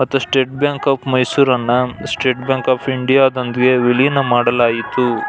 ಮತ್ತೆ state bank of Mysore ನ್ನ state bank of India ದೊಂದಿಗೆ ವಿಲೀನ ಮಾಡಲಾಯಿತು.